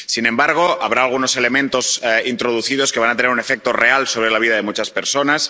Sin embargo, habrá algunos elementos introducidos que van a tener un efecto real sobre la vida de muchas personas.